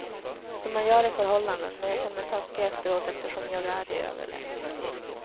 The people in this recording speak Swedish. Som man gör i förhållanden, men jag känner mig taskig efteråt eftersom jag är i överläge.